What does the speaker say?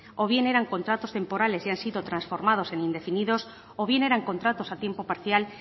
o bien eran contratos temporales y han sido transformados en indefinidos o bien eran contratos a tiempo parcial